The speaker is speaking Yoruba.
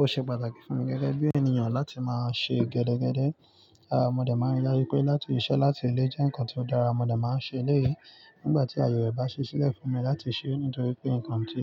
Ó ṣe pàtàkì fún mi gẹ́gẹ́ bí ènìyàn láti máa ṣe gẹ́dẹ́gẹ́dẹ́. Rárá, mo dẹ̀ máa ń yára pé láti ìṣẹ́ láti ilé jẹ́ nǹkan tó dára mo dẹ̀ máa ń ṣe eléèy. Nígbà tí ayọ̀ rẹ̀ bá ṣi ṣílẹ̀ fún mi láti ṣe é nítorí pé nǹkan tí